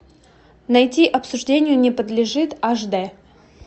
найти обсуждению не подлежит аш д